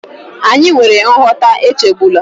Anyị nwere nghọta, echegbula